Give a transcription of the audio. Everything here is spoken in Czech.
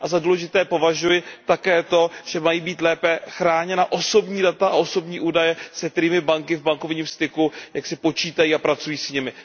Za důležité považuji také to, že mají být lépe chráněna osobní data a osobní údaje, se kterými banky v bankovním styku počítají a pracují s nimi.